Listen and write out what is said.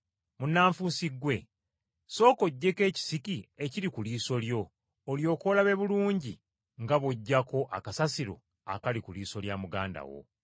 Munnanfuusi ggwe! Sooka oggyeko ekisiki ekiri ku liiso lyo olyoke olabe bulungi nga bw’oggyako akasasiro akali ku liiso lya muganda wo.”